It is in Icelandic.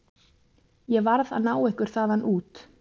Ég varð að ná ykkur þaðan út.